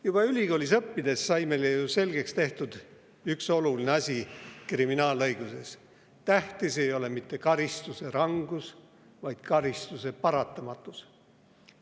Juba ülikoolis õppides sai meile ju selgeks tehtud üks oluline asi kriminaalõiguses: tähtis ei ole mitte karistuse rangus, vaid karistuse paratamatus.